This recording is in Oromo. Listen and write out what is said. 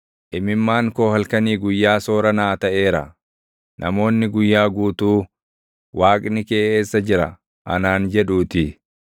Imimmaan koo halkanii guyyaa soora naa taʼeera; namoonni guyyaa guutuu “Waaqni kee eessa jira?” anaan jedhuutii.